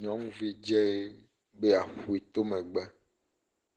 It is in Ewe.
nyɔnuvi dze be yeaƒoe to megbe.